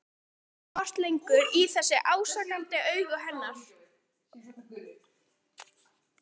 Edda gat ekki horft lengur í þessi ásakandi augu hennar.